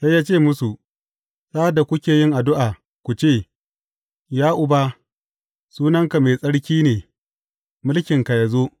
Sai ya ce musu, Sa’ad da kuke yin addu’a ku ce, Ya Uba, sunanka mai tsarki ne mulkinka ya zo.